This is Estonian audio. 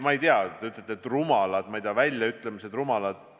Te ütlete, et rumalad, ma ei tea, väljaütlemised.